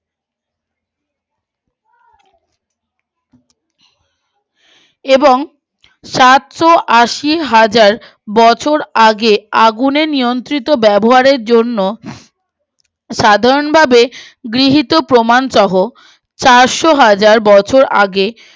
এবং সাতশো আশি হাজার বছর আগে আগুনে নিয়ন্ত্রিত ব্যবহারের জন্য সাধারণ ভাবে গৃহীত প্রমান সহ চারশো হাজার বছর আগে